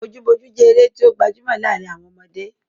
Bojúbojú jẹ́ eré tí ó gbajúmọ̀ láàrin àwọn ọmọdé.